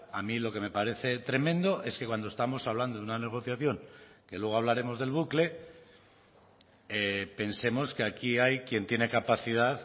a mí lo que me parece tremendo es que cuando estamos hablando de una negociación que luego hablaremos del bucle pensemos que aquí hay quien tiene capacidad